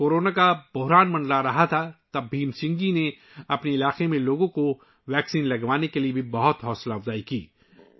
جب کورونا بحران زور پکڑ رہا تھا تو بھیم سنگھ جی نے اپنے علاقے کے لوگوں کو ٹیکہ لگوانے کی ترغیب دی